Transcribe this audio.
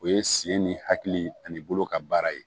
O ye sen ni hakili ani bolo ka baara ye